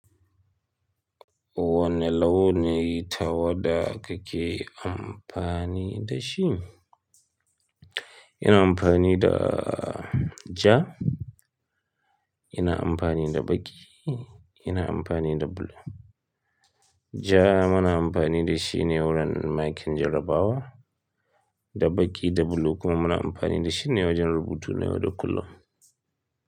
Wane launin ta wada kake amfani da shi? Ina amfani da ja, ina amfani da baƙi, ina amfani da bulu. Ja muna amfani da shi ne wurin makin jarabawa, da baƙi da bulu kuma muna amfani da shi ne wajen rubutu nayau da kullum.